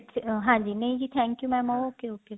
ਹਾਂਜੀ ਨਹੀਂ ਜੀ thank you mam okay okay